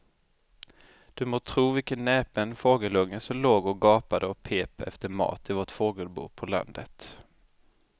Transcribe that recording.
Du må tro vilken näpen fågelunge som låg och gapade och pep efter mat i vårt fågelbo på landet.